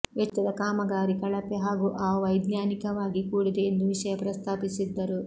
ವೆಚ್ಚದ ಕಾಮಗಾರಿ ಕಳೆಪೆ ಹಾಗೂ ಅವೈಜ್ಞಾನಿಕವಾಗಿ ಕೂಡಿದೆ ಎಂದು ವಿಷಯ ಪ್ರಸ್ತಾಪಿಸಿದ್ದರು